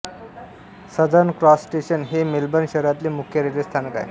southern cross station हे Melbourne शहरातले मुख्य रेल्वे स्थानक आहे